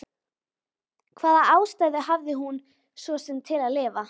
Hvaða ástæðu hafði hún svo sem til að lifa?